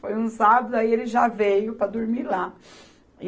Foi um sábado, aí ele já veio para dormir lá.